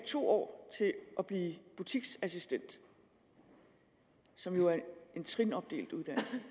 to år at blive butiksassistent som jo er en trinopdelt uddannelse